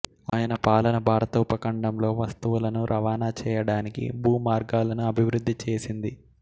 ఆయన పాలన భారత ఉపఖండంలో వస్తువులను రవాణా చేయడానికి భూ మార్గాలను అభివృద్ధి చేసింది